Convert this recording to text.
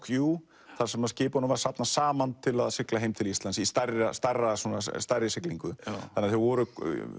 þar sem skipunum var safnað saman til að sigla heim til Íslands í stærri stærri stærri siglingu þannig að þau voru